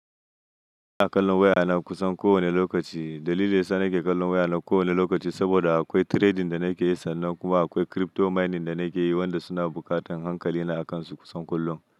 Na kalla wayana kusan kowane lokaci. Dalili ya sa nake kallon wayana kowane lokaci saboda akwai trading da nake yi sannan kuma akwai crypto mining da nake yi wanda suna buƙatar hankali na akansu kusan kullum.